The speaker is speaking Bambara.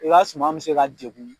I ka suman mi se ka degun